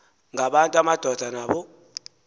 ngabantu amadoda naba